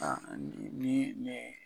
Aa a nin nin nin